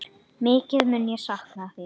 Mikið mun ég sakna þín.